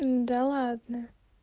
да ладно